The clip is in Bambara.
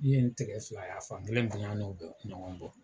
N ye n tigɛ fila y'a fan kelen bonya n'o bɛ ɲɔgɔn bɔ.